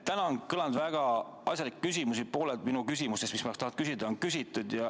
Täna on kõlanud väga asjalikke küsimusi, pooled minu küsimustest, mida ma tahan küsida, on küsitud.